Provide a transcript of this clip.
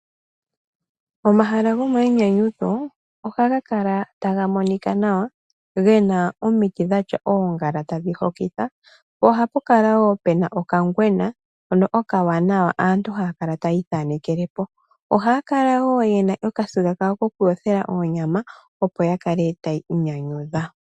Omahala gomainyanyudho ohaga kala taga monika nawa ge na omiti dhatya oongala tadhi hokitha. Ohapu kala wo pe na okangwena hono okawanawa, aantu haya kala taya ithanekele po. Ohaya kala wo ye na okasiga kawo kokuyothela oonyama, opo ya kale taya inyanyudha.